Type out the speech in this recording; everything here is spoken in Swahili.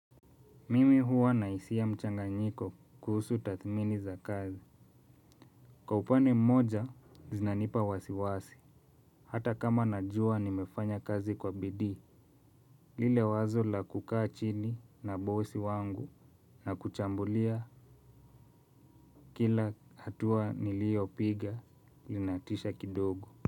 Mimi huwa na hisia mchanganyiko kuhusu tathmini za kazi. Kwa upande mmoja zinanipa wasiwasi. Hata kama najua nimefanya kazi kwa bidii lile wazo la kukaa chini na bosi wangu na kuchambulia. Kila hatua niliopiga linatisha kidogo.